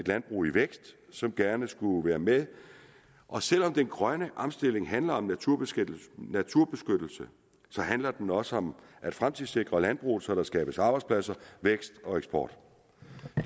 landbrug i vækst som gerne skulle være med og selv om den grønne omstilling handler om naturbeskyttelse så handler den også om at fremtidssikre landbruget så der skabes arbejdspladser vækst og eksport